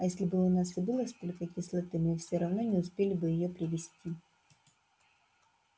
а если бы у нас и было столько кислоты мы всё равно не успели бы её привезти